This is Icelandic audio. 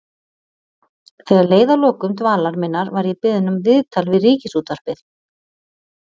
Þegar leið að lokum dvalar minnar var ég beðin um viðtal við Ríkisútvarpið.